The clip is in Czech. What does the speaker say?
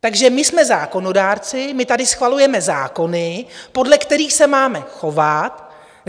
Takže my jsme zákonodárci, my tady schvalujeme zákony, podle kterých se máme chovat.